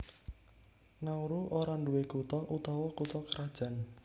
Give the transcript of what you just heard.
Nauru ora nduwé kutha utawa kutha krajan